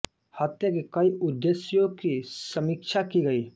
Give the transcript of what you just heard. हत्या के कई उद्देश्यों की समीक्षा की गई